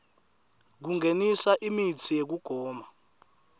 kungenisa imitsi yekugoma